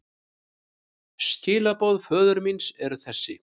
Skilaboð föður míns eru þessi.